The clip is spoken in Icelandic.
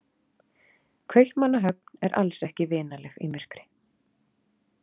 Kaupmannahöfn er alls ekki vinaleg í myrkri.